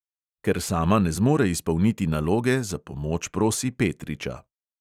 Ker sama ne zmore izpolniti naloge, za pomoč prosi petriča.